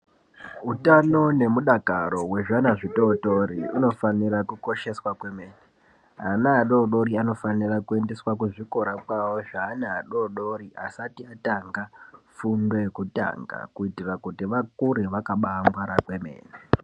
Utano nemudakaro wezvana zvitootori unofanira kukosheswa kwemene. Ana adoodori anofanire kuendeswa kuzvikora kwawo, zveana adoodori asati atanga fundo yekutanga, kuitira kuti, vakure vakabaangwara kwemene